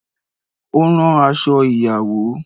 O ran aṣọ ìyàwó